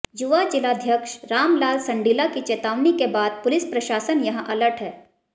युवा जिलाध्यक्ष रामलाल संडिला की चेतावनी के बाद पुलिस प्रशासन यहां अलर्ट है